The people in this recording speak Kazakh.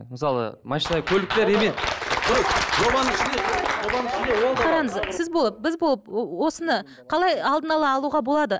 мысалы машина көлікте ремень қараңыз сіз болып біз болып осыны қалай алдын ала алуға болады